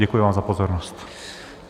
Děkuji vám za pozornost.